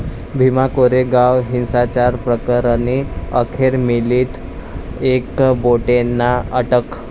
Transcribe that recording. भीमा कोरेगाव हिंसाचार प्रकरणी अखेर मिलिंद एकबोटेंना अटक